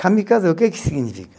Kamikaze o que que significa?